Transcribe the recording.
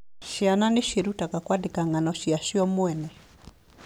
Ciana nĩ ciĩrutaga kwandĩka ng'ano cia cio mwene.